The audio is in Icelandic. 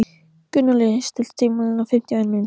Gunnóli, stilltu tímamælinn á fimmtíu og eina mínútur.